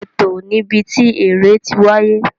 Ètò ni ibi tí eré tí wáyé